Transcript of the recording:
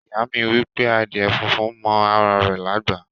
Iya mi wipe adíè fúnfún mọ ara rè lágbá.